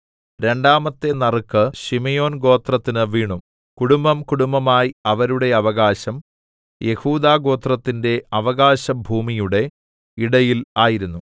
രണ്ടാമത്തെ നറുക്ക് ശിമെയോൻ ഗോത്രത്തിന് വീണു കുടുംബംകുടുംബമായി അവരുടെ അവകാശം യെഹൂദാ ഗോത്രത്തിന്റെ അവകാശഭൂമിയുടെ ഇടയിൽ ആയിരുന്നു